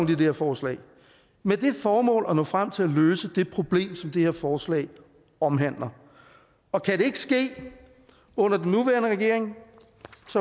det her forslag med det formål at nå frem til at løse det problem som det her forslag omhandler og kan det ikke ske under den nuværende regering